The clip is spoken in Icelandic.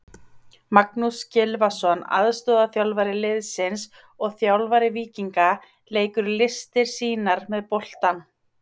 Magnús Gylfason aðstoðarþjálfari liðsins og þjálfari Víkinga leikur listir sínar með boltann.